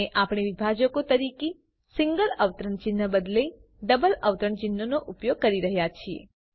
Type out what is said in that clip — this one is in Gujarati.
અને આપણે વિભાજકો તરીકે સિંગલ અવતરણ ચિહ્નને બદલે ડબલ અવતરણચિહ્નો ઉપયોગ કરી રહ્યા છીએ